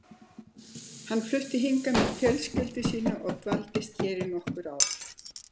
Hann fluttist hingað með fjölskyldu sína og dvaldist hér í nokkur ár.